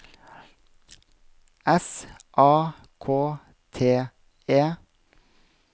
S A K T E